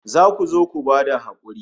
Za ku zo ku ba da hakuri